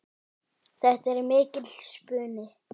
Þetta er mikill spuni.